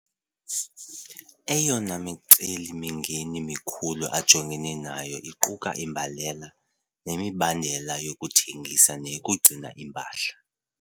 Eyona miceli-mingeni mikhulu ajongene nayo iquka imbalela, nemibandela yokuthengisa neyokugcina impahla.